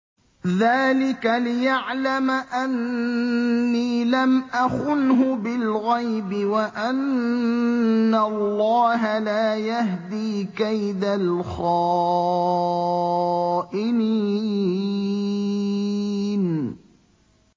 ذَٰلِكَ لِيَعْلَمَ أَنِّي لَمْ أَخُنْهُ بِالْغَيْبِ وَأَنَّ اللَّهَ لَا يَهْدِي كَيْدَ الْخَائِنِينَ